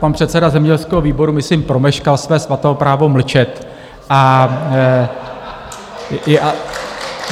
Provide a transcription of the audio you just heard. Pan předseda zemědělského výboru myslím promeškal své svaté právo mlčet.